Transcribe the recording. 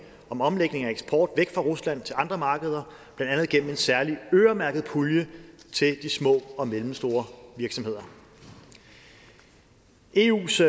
om omlægning af eksport væk fra rusland til andre markeder blandt andet igennem en særlig øremærket pulje til de små og mellemstore virksomheder eus